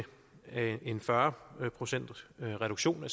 en fyrre procentsreduktion